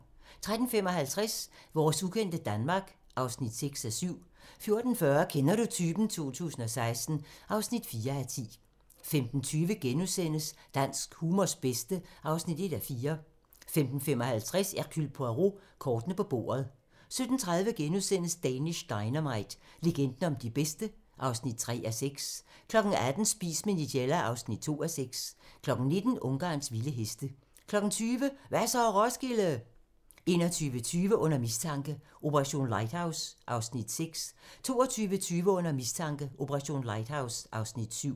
13:55: Vores ukendte Danmark (6:7) 14:40: Kender du typen? 2016 (4:10) 15:20: Dansk humors bedste (1:4)* 15:55: Hercule Poirot: Kortene på bordet 17:30: Danish Dynamite - legenden om de bedste (3:6)* 18:00: Spis med Nigella (2:6) 19:00: Ungarns vilde heste 20:00: Hva' så, Roskilde? 21:20: Under mistanke: Operation Lighthouse (Afs. 6) 22:20: Under mistanke: Operation Lighthouse (Afs. 7)